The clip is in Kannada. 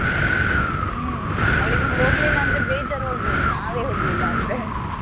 ಹ್ಮ್ ಅವಳಿಗೆ ಹೋಗ್ಲಿಲ್ಲ ಅಂದ್ರೆ ಬೇಜಾರು ಆಗಬೋದು. ನಾವೇ ಹೋಗ್ಲಿಲ್ಲ ಅಂದ್ರೆ.